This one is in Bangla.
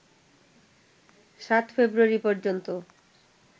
৭ ফেব্রুয়ারি পর্যন্ত